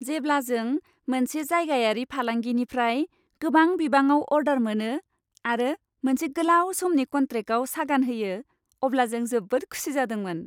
जेब्ला जों मोनसे जायगायारि फालांगिनिफ्राय गोबां बिबाङाव अर्डार मोनो आरो मोनसे गोलाव समनि कन्ट्रेक्टआव सागान होयो, अब्ला जों जोबोद खुसि जादोंमोन।